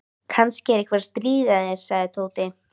Kannski er einhver að stríða þér sagði Tóti.